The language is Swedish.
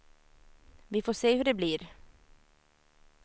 Vi får se hur det blir.